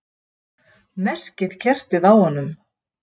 Merkikertið á honum!